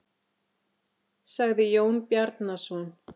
sagði Jón Bjarnason.